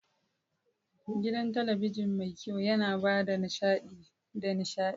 Gidan talabijin mai kyau yana ba da nishaɗi da nishaɗi.